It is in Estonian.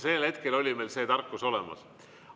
Sellel hetkel oli meil see tarkus olemas.